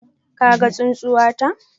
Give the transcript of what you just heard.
Ka gan tsunsuwata?